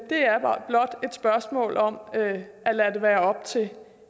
spørgsmål om at lade det være op til